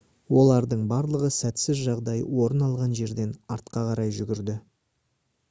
олардың барлығы сәтсіз жағдай орын алған жерден артқа қарай жүгірді